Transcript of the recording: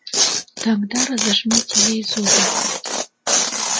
тогда разожмите ей зубы